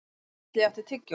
Geisli, áttu tyggjó?